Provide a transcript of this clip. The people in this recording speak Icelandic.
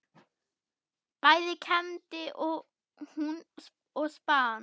Bæði kembdi hún og spann.